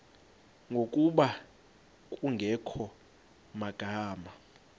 ngokuba kungekho magama